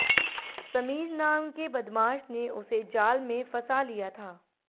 समीर नाम के बदमाश ने उसे जाल में फंसा लिया था